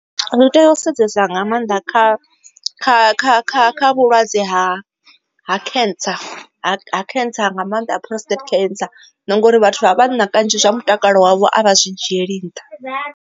Ri tea u sedzesa nga maanḓa kha kha kha kha vhulwadze ha cancer cancer nga maanḓa preostate ancer nangori vhathu vha vhanna kanzhi zwa mutakalo wavho a vha zwi dzhieli nṱha.